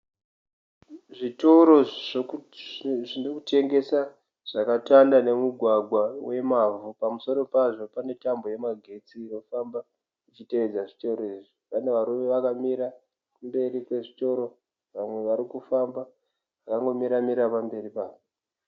Zvitoro zvinotengesa zvakatanda nemugwagwa wemavhu pamusoro pazvo pane tambo yemagetsi inofamba ichitevedza zvitoro izvi pane varume vakamira kumberi kwezvitoro vamwe varikufamba vakangomira mira pamberi pazvo.